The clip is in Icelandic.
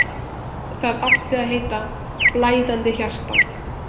Það átti að heita: Blæðandi hjarta.